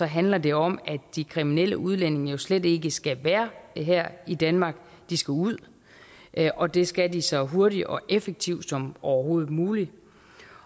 handler det om at de kriminelle udlændinge jo slet ikke skal være her i danmark de skal ud og det skal de så hurtigt og effektivt som overhovedet muligt